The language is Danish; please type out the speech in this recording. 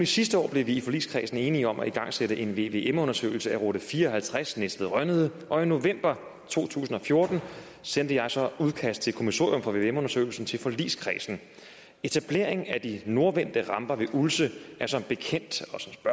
sidste år blev vi i forligskredsen enige om at igangsætte en vvm undersøgelse af rute fire og halvtreds næstved rønnede og i november to tusind og fjorten sendte jeg så udkast til kommissorium for vvm undersøgelsen til forligskredsen etableringen af de nordvendte ramper ved ulse er som bekendt